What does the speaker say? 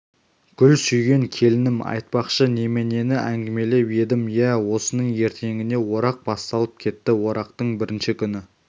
гүл сүйген келінім айтпақшы неменені әңгімелеп едім иә осының ертеңіне орақ басталып кетті орақтың бірінші күні